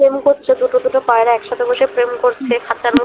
প্রেম করছে দুটো দুটো পায়রা একসাথে বসে প্রেম করছে খাঁচার মধ্যে